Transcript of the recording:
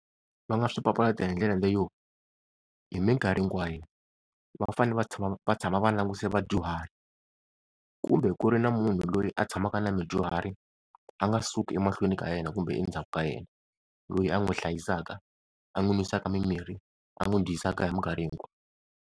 Va nga swi papalata hindlela leyo, hi mikarhi hinkwayo va fanele va tshama va tshama va languse vadyuhari, kumbe ku ri na munhu loyi a tshamaka na mudyuhari a nga suki emahlweni ka yena kumbe endzhaku ka yena. Loyi a n'wi hlayisaka a n'wi n'wisaka mimirhi a n'wi dyisaka hi mikarhi hinkwayo.